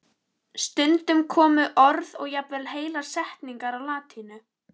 Stundum komu orð og jafnvel heilar setningar á latínu.